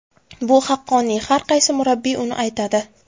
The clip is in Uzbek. Bu haqqoniy, har qaysi murabbiy buni aytadi.